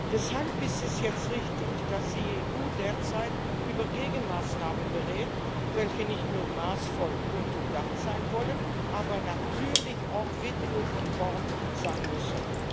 Deshalb ist es jetzt richtig, dass die EU derzeit über Gegenmaßnahmen berät, welche nicht nur maßvoll und durchdacht sein wollen, sondern natürlich auch WTO konform sein müssen.